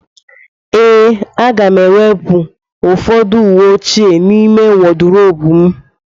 Ee,a ga m-ewepụ ụfọdụ uwe ochie n'ime wodrobu m.